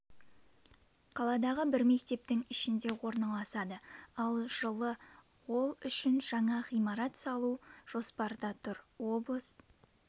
қаладағы бір мектептің ішінде орналасады ал жылы ол үшін жаңа ғимарат салу жоспарда тұр облыс